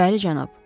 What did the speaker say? Bəli, cənab.